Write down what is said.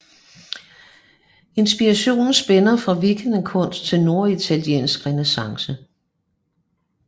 Inspirationen spænder fra vikingekunst til norditaliensk renæssance